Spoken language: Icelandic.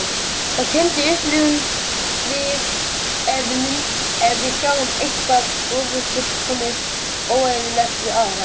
Þá kennd upplifum við ef við sjáum eitthvað ófullkomið, óeðlilegt, við aðra.